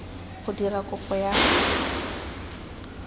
go dira kopo ya go